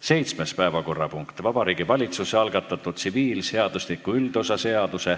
Seitsmes päevakorrapunkt: Vabariigi Valitsuse algatatud tsiviilseadustiku üldosa seaduse